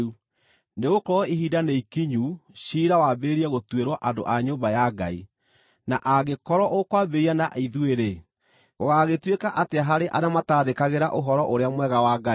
Nĩgũkorwo ihinda nĩ ikinyu ciira wambĩrĩrie gũtuĩrwo andũ a nyũmba ya Ngai; na angĩkorwo ũkwambĩrĩria na ithuĩ-rĩ, gũgaagĩtuĩka atĩa harĩ arĩa mataathĩkagĩra Ũhoro-ũrĩa-Mwega wa Ngai?